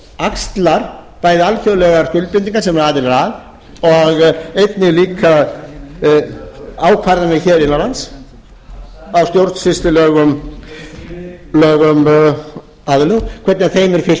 axlar bæði alþjóðlegar skuldbindingar sem við erum aðilar að og einnig líka ákvarðanir hér innan lands á stjórnsýslulegum hvernig þeim er fylgt